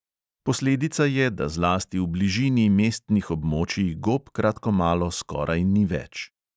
Posledica je, da zlasti v bližini mestnih območij gob kratkomalo skoraj ni več.